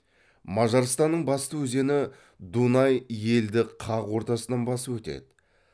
мажарстанның басты өзені дунай елді қақ ортасынан басып өтеді